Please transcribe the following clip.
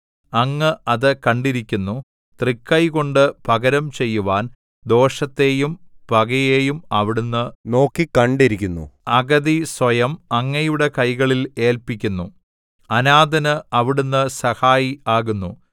അങ്ങ് അത് കണ്ടിരിക്കുന്നു തൃക്കൈകൊണ്ട് പകരം ചെയ്യുവാൻ ദോഷത്തെയും പകയെയും അവിടുന്ന് നോക്കിക്കണ്ടിരിക്കുന്നു അഗതി സ്വയം അങ്ങയുടെ കൈകളിൽ ഏല്പിക്കുന്നു അനാഥന് അവിടുന്ന് സഹായി ആകുന്നു